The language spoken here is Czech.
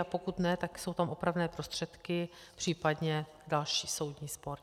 A pokud ne, tak jsou tam opravné prostředky, případně další soudní spor.